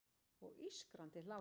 Og ískrandi hlátur.